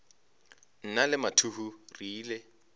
nna le mathuhu re ile